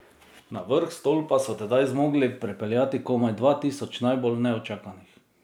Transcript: Na vrh stolpa so tedaj zmogli prepeljati komaj dva tisoč najbolj neučakanih.